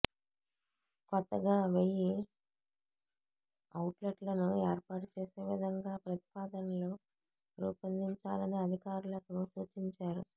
కొత్తగా వెయ్యి ఔట్లెట్లను ఏర్పాటు చేసే విధంగా ప్రతిపాదనలు రూపొందించాలని అధికారులకు సూచించారు